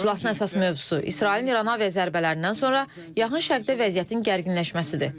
İclasın əsas mövzusu İsrailin İrana aviazərbələrindən sonra Yaxın Şərqdə vəziyyətin gərginləşməsidir.